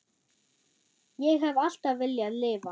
Ég hef alltaf viljað lifa.